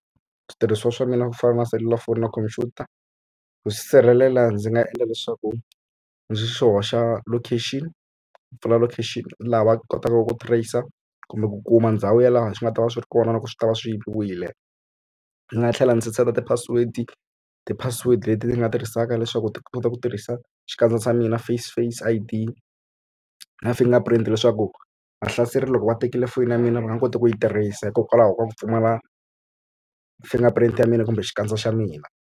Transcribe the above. Switirhisiwa swa mina ku fana na selulafoni na khompyuta ku sirhelela ndzi nga endla leswaku ndzi swi hoxa location ku pfula location laha va kotaka ku tracer kumbe ku kuma ndhawu ya laha swi nga ta va swi ri kona loko swi ta va swi yiviwile. Ndzi nga tlhela ndzi set-a ti-password ti-password leti ti nga tirhisaka leswaku ti kota ku tirhisa xikandza xa mina face face i_d na fingerprint leswaku vahlaseri loko va tekile fonini ya mina va nga koti ku yi tirhisa hikokwalaho ka ku pfumala fingerprint ya mina kumbe xikandza xa mina.